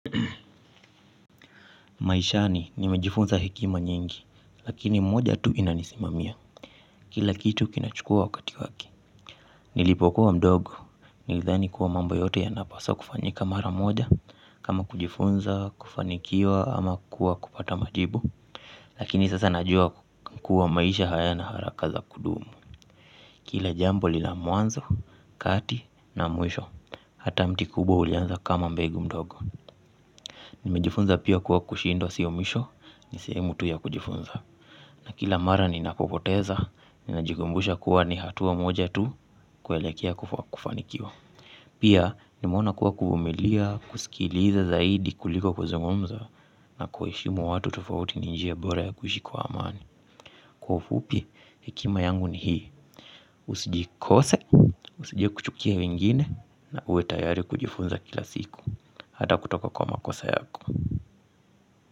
Maishani nimejifunza hekima nyingi lakini moja tu inanisimamia. Kila kitu kinachukua wakati wake. Nilipokuwa mdogo nilidhani kuwa mambo yote yanapaswa kufanyika mara moja kama kujifunza kufanikiwa ama kuwa kupata majibu. Lakini sasa najua kuwa maisha hayana haraka za kudumu. Kila jambo lina mwanzo kati na mwisho hata mti kubwa ulianza kama mbegu mdogo. Nimejifunza pia kuwa kushindwa siomisho, ni sehemu tu ya kujifunza. Na kila mara ninapopoteza, ninajikumbusha kuwa ni hatua moja tu kuelekea kufanikiwa. Pia nimeona kuwa kuvumilia, kusikiliza zaidi kuliko kuzungumza na kuheshimu watu tufauti ni njia bora ya kuishi kwa amani. Kwa ufupi, hekima yangu ni hii. Usijikose, usije kuchukia wengine na uwe tayari kujifunza kila siku hata kutoka kwa makosa yako.